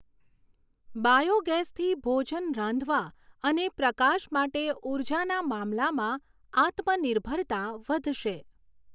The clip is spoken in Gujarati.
બાયૉગેસથી ભોજન રાંધવા અને પ્રકાશ માટે ઊર્જાના મામલામાં આત્મનિર્ભરતા વધશે.